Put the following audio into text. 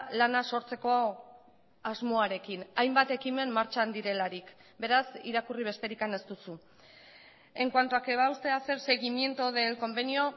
lana sortzeko asmoarekin hainbat ekimen martxan direlarik beraz irakurri besterik ez duzu en cuanto a que va a usted hacer seguimiento del convenio